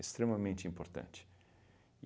importante.